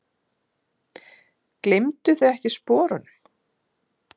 Gleymduð þið ekkert sporunum?